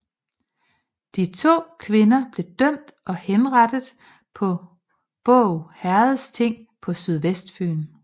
De to kvinder blev dømt og henrettet på Båg herredsting på Sydvestfyn